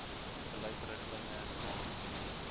beleid riglyne norms